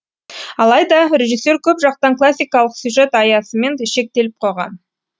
алайда режиссер көп жақтан классикалық сюжет аясымен шектеліп қойған